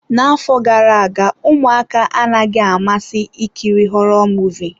N'afọ gara aga, ụmụaka anaghị amasị ikiri họrọ Muvịị.